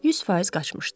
100% qaçmışdı.